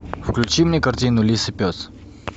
включи мне картину лис и пес